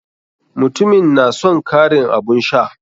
Mutumin na son karin abun sha.